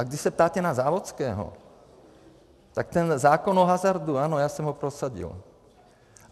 A když se ptáte na Závodského, tak ten zákon o hazardu, ano, já jsem ho prosadil.